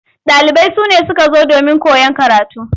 Ɗalibai sune suka zo domin koyan karatu.